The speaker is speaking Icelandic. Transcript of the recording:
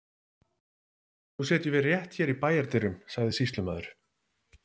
Nú setjum við rétt hér í bæjardyrum, sagði sýslumaður.